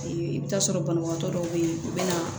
i bɛ taa sɔrɔ banabagatɔ dɔw bɛ yen u bɛ na